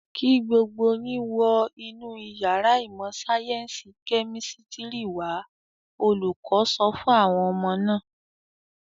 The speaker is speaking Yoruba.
"Kí gbogbo yín wọ inú ìyàrá ìmọ̀-sáyẹ́ńsì kẹ́mísítírì wà á!" Olùkọ́ sọ fún àwọn ọmọ náà.